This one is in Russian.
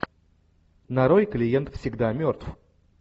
нарой клиент всегда мертв